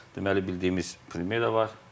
Deməli bildiyimiz Primyera var.